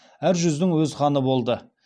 әр жүздің өз ханы болды